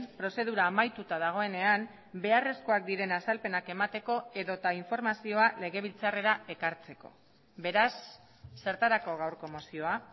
prozedura amaituta dagoenean beharrezkoak diren azalpenak emateko edota informazioa legebiltzarrera ekartzeko beraz zertarako gaurko mozioa